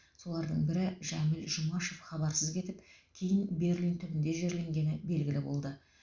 солардың бірі жәміл жұмашев хабарсыз кетіп кейін берлин түбінде жерленгені белгілі болды